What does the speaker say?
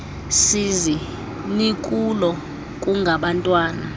sizi nikulo kungabantwana